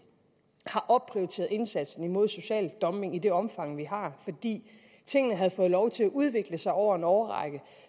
har opprioriteret indsatsen imod social dumpning i det omfang som vi har fordi tingene havde fået lov til at udvikle sig over en årrække